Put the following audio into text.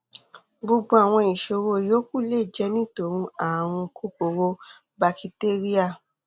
gbogbo àwọn ìṣòro yòókù lè jẹ nítorí ààrùn kòkòrò bakitéríà